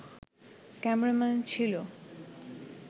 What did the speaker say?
cameraman ছিল